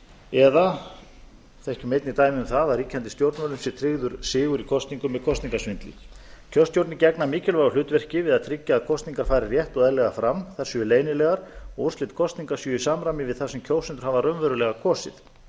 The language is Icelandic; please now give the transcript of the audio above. eða þekkjum einnig dæmi um það að ríkjandi stjórnvöldum en tryggður sigur í kosningum með kosningasvindli kjörstjórnir gegna mikilvægu hlutverki við að tryggja að kosningar fari rétt og eðlilega fram þær séu leynilegar og úrslit kosninga séu í samræmi við það sem kjósendur hafa raunverulega kosið